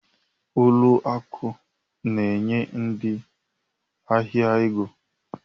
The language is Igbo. Ụlọ akụ na-enye ndị ahịa ego